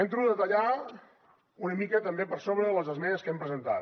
entro a detallar una mica també per sobre les esmenes que hem presentat